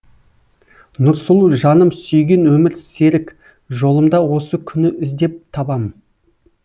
нұрсұлу жаным сүйген өмір серік жолымда осы күні іздеп табам